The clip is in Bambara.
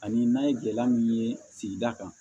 Ani n'an ye gɛlɛya min ye sigida kan